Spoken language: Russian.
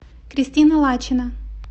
кристина лачина